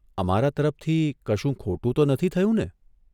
અમારા તરફથી કશું ખોટું તો નથી થયું ને?"